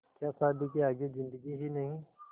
क्या शादी के आगे ज़िन्दगी ही नहीं